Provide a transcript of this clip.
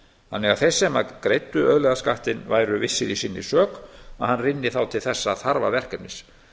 þannig að þeir sem að greiddu auðlegðarskattinn væru vissir í sinni sök að hann rynni þá til þessa þarfa verkefnis